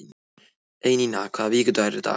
Einína, hvaða vikudagur er í dag?